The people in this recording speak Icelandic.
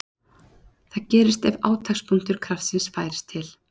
Það gerist ef átakspunktur kraftsins færist til.